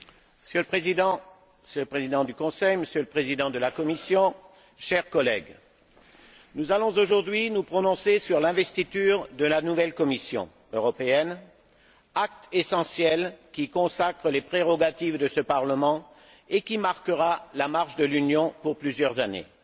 Monsieur le Président, Monsieur le Président du Conseil, Monsieur le Président de la Commission, chers collègues, nous allons aujourd'hui nous prononcer sur l'investiture de la nouvelle Commission européenne, acte essentiel qui consacre les prérogatives de ce Parlement et qui marquera la marche de l'Union pour plusieurs années.